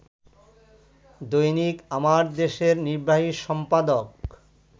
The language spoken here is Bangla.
দৈনিক আমার দেশের নির্বাহী সম্পাদক